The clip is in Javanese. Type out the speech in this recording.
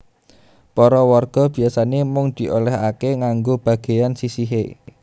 Para warga biasané mung diolèhaké nganggo bagéyan sisihé